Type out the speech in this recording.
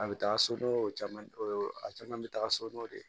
A bɛ taa so o caman o caman bɛ taa sodɔw de